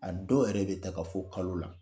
A dɔw yɛrɛ bɛ taga fɔ kalo la!